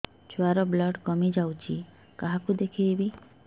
ଛୁଆ ର ବ୍ଲଡ଼ କମି ଯାଉଛି କାହାକୁ ଦେଖେଇବି